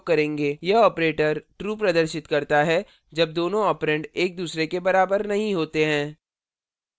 यह operator true प्रदर्शित करता है जब दोनों ऑपरेंड एक दूसरे के बराबर नहीं होते हैं